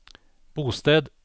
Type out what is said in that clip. bosted